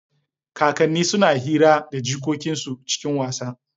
Kakanni suna hira da jikokin su cikin wasa.